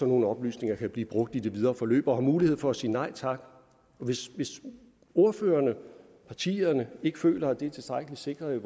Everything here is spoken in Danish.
nogle oplysninger kan blive brugt i det videre forløb og har mulighed for at sige nej tak hvis ordførerne partierne ikke føler at det er tilstrækkeligt sikret